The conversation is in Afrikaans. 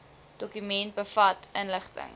dokument bevat inligting